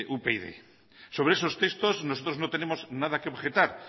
upyd sobre esos textos nosotros no tenemos anda que objetar